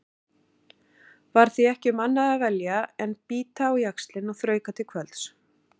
Var því ekki um annað að velja en bíta á jaxlinn og þrauka til kvölds.